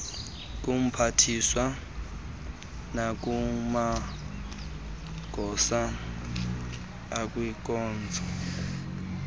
kumphathiswa nakumagosa akwinkonzo